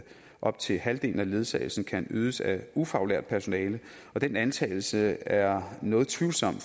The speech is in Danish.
op til halvdelen af ledsagelsen kan ydes af ufaglært personale og den antagelse er noget tvivlsom